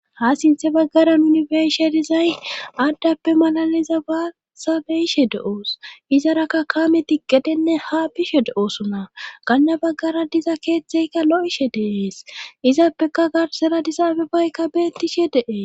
ha sinthe baggaran nuni beishe dizay aaddappe malaliza baasabeyishe do7oos izarakka kaame tiqqedenne ha bishe do7oosona ganna baggara diza keethtzeykka lo7ishe deeees izappeka garsera disaabe baykka beettishe de7es